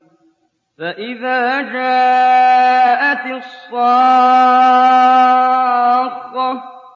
فَإِذَا جَاءَتِ الصَّاخَّةُ